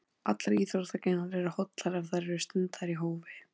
Allar íþróttagreinar eru hollar ef þær eru stundaðar í hófi.